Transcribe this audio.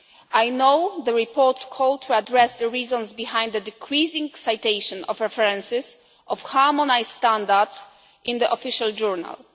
I know the report called us to address the reasons behind the decreasing citation of references of harmonised standards in the Official Journal.